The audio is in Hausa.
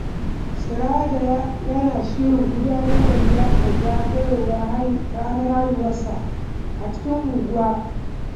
Sirajo yana shirin gudanar da liyafar zagayowar ranar haihuwarsa a cikin unguwa.